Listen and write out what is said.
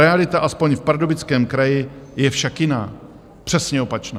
Realita aspoň v Pardubickém kraji je však jiná, přesně opačná.